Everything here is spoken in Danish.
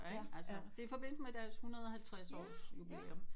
Ja ikk altså det er i forbindelse med deres 150 årigs jubilæum